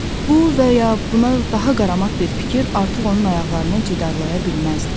Bu və ya buna daha qaramat bir fikir artıq onun ayaqlarını cidaralaya bilməzdi.